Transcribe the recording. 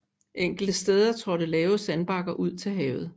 Enkelte steder trådte lave sandbakker ud til havet